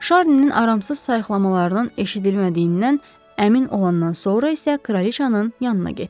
Şarninin aramsız sayiqlamalarının eşidilmədiyindən əmin olandan sonra isə Kraliçanın yanına getdi.